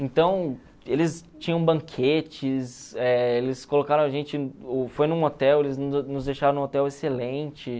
Então, eles tinham banquetes, eh eles colocaram a gente foi num hotel, eles nos deixaram num hotel excelente.